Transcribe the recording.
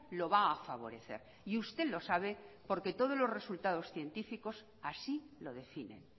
lo va a favorecer y usted lo sabe porque todos los resultados científicos así lo definen